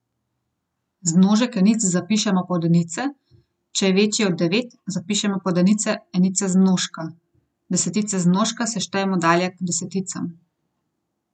Zmnožek enic zapišemo pod enice, če je večji od devet, zapišemo pod enice enice zmnožka, desetice zmnožka štejemo dalje k deseticam.